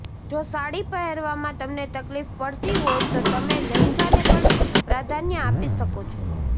જો સાડી પહેરવામાં તમને તકલીફ પડતી હોય તો તમે લહેંગાને પણ પ્રાધાન્ય આપી શકો છો